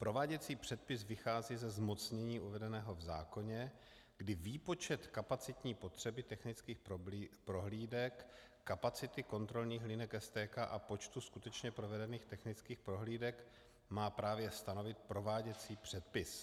Prováděcí předpis vychází ze zmocnění uvedeného v zákoně, kdy výpočet kapacitní potřeby technických prohlídek, kapacity kontrolních linek STK a počtu skutečně provedených technických prohlídek má právě stanovit prováděcí předpis.